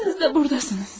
Siz də burdasınız.